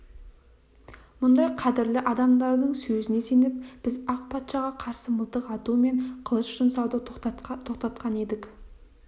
мұндай қадірлі адамдардың сөзіне сеніп біз ақ патшаға қарсы мылтық ату мен қылыш жұмсауды тоқтатқан едік